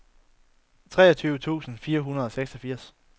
treogtyve tusind fire hundrede og seksogfirs